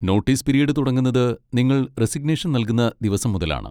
Notice period തുടങ്ങുന്നത് നിങ്ങൾ resignation നൽകുന്ന ദിവസം മുതലാണ്.